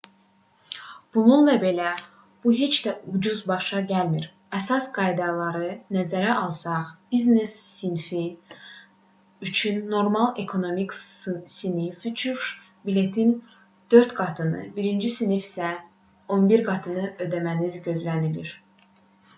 bununla belə bu heç də ucuz başa gəlmir əsas qaydaları nəzərə alsaq biznes sinfi üçün normal ekonomik sinif uçuş biletinin 4 qatını birinci sinif üçün isə 11 qatını ödəməniz gözlənilir